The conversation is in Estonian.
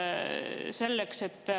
Aitäh teile!